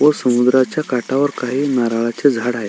व समुद्राच्या काठावर काही नारळाचे झाड आहेत.